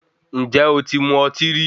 Ǹjé o ti mu ọtí rí?